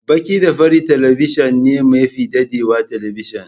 Baki da fari talabijin ne mafi dadewa talabijin.